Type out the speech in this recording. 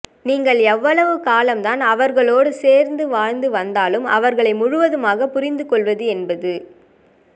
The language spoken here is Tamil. நீங்கள் எவ்வளவு காலம் தான் அவர்களோடு சேர்ந்து வாழ்ந்து வந்தாலும் அவர்களை முழுவதுமாக புரிந்து கொள்வது என்பது